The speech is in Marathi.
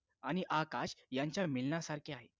आणि आकाश यांच्या मिलनासारखे आहे